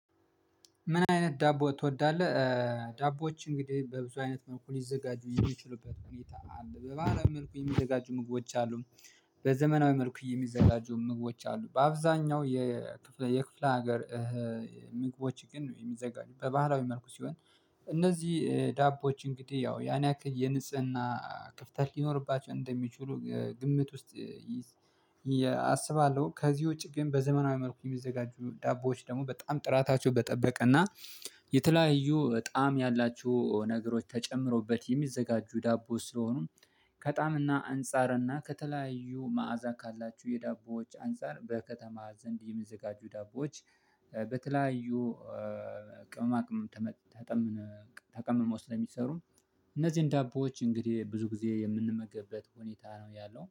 ምን አይነት ዳቦ ትወዳለህ? ዳቦዎች እንግዲህ በብዙ አይነት መልኩ ሊዘጋጁ የሚችሉበት ሁኔታ አለ በባህላዊ መልኩ የሚዘጋጁ ምግቦች አሉ በዘመናዊ መልኩ የሚዘጋጁ ምግቦች አሉ በአብዛኛው የክፍለ ሀገር ምግቦች ግን የሚዘጋጁ በባህላዊ መልኩ ሲሆን እነዚህ ዳቦዎች እንግዲህ ያን ያክል የንጽህና ክፍተት ሊኖርባቸው እንደሚችሉ ግምት ውስጥ አስባለሁ ከዚህ ውጪ ግን በዘመናዊ መልኩ የሚዘጋጁ ዳቦዎች ደግሞ በጣም ጥራታቸው በጠበቀና የተለያዩ ጣዕም ያላችሁ ነገሮች ተጨምረዉበት የሚዘጋጁ ዳቦ ስለሆኑ ከጣምና አንፃርና ከተለያዩ መዓዛ ካላችሁ የዳቦዎች አንፃር በከተማ ዘንድ የሚዘጋጁ ዳቦዎች በተለያዩ ቅመማቅመም ተቀምመው ስለሚሰሩ እነዚህን ዳቦዎች እንግዲህ ብዙ ጊዜ የምንመገብበት ሁኔታ ነው ያለው